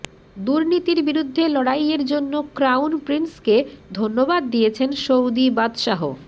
দুর্নীতির বিরুদ্ধে লড়াইয়ের জন্য ক্রাউন প্রিন্সকে ধন্যবাদ দিয়েছেন সৌদি বাদশাহ